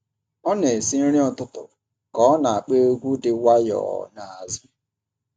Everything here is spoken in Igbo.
Ọ na-esi nri ụtụtụ ka ọ na-akpọ egwu dị nwayọọ n’azụ.